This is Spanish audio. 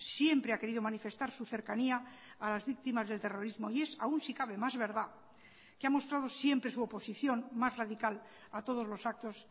siempre ha querido manifestar su cercanía a las víctimas del terrorismo y es aún si cabe más verdad que ha mostrado siempre su oposición más radical a todos los actos